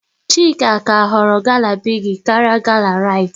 Chika ka họrọ gala Bigi karịa gala Rite